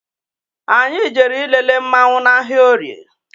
Anyị jere ịlele mmanwu n' ahịa orie